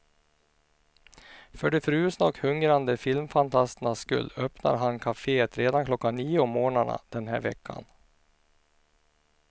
För de frusna och hungrande filmfantasternas skull öppnar han kafét redan klockan nio om mornarna den här veckan.